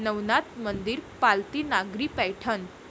नवनाथ मंदिर, पालथी नागरी पैठण